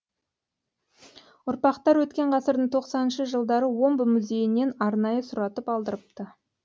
ұрпақтары өткен ғасырдың тоқсаныншы жылдары омбы музейінен арнайы сұратып алдырыпты